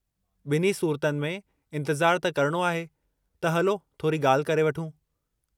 बि॒न्ही सूरतुनि में इंतिज़ारु त करणो आहे त हलो थोरी गा॒ल्हि करे वठूं।